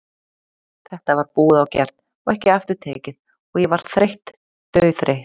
Þetta var búið og gert og ekki aftur tekið og ég var þreytt, dauðþreytt.